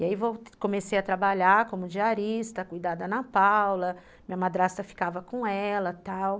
E aí comecei a trabalhar como diarista, cuidar da Ana Paula, minha madrasta ficava com ela e tal.